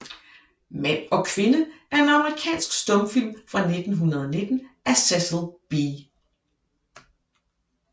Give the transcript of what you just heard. Mand og Kvinde er en amerikansk stumfilm fra 1919 af Cecil B